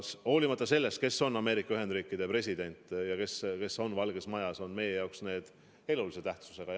Olenemata sellest, kes on Ameerika Ühendriikide president ja kes on Valges Majas, on need suhted meie jaoks elulise tähtsusega.